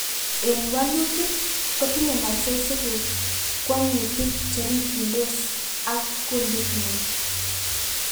en walutik, kotinyei muscles iguk kwongutik cherikyindos ak kunditngung